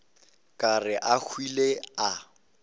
ka re a hwile a